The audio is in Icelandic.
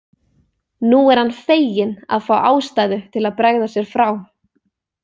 Nú er hann feginn að fá ástæðu til að bregða sér frá.